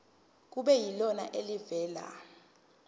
kube yilona elivela